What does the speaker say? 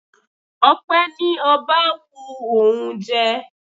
Ọpẹ ní ọba wu òun jẹ.